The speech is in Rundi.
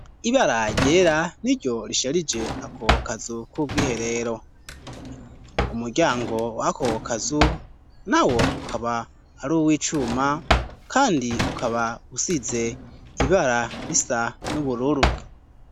Ibara ryera niryo risharije ako kazu k'ubwiherero. Umuryango wako kazu nawo ukaba ari uw' icuma kandi ukaba usize ibara bisa n'ubururu.